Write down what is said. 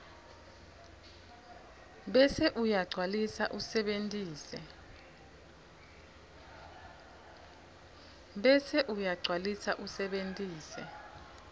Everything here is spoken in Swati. bese uyagcwalisa usebentise